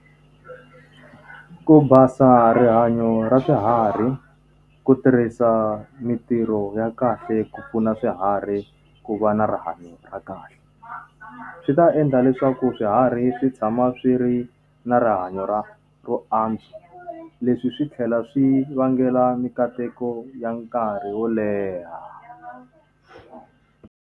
Ku basa rihanyo ra swiharhi, ku tirhisa mintirho ya kahle ku pfuna swiharhi ku va na rihanyo ra kahle. Swi ta endla leswaku swiharhi swi tshama swi ri na rihanyo ra ro antswa, leswi swi tlhela swi vangela minkateko ya nkarhi wo leha.